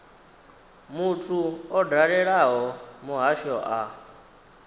muthu o dalelaho muhasho a